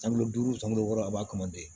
San duuru san wɔɔrɔ a b'a kama de